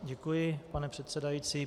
Děkuji, pane předsedající.